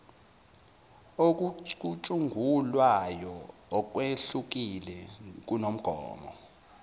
okucutshungulwayo okwehlukile kumgomo